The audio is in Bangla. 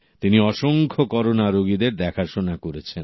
তিনি অসংখ্য করোনা রোগীদের দেখাশোনা করেছেন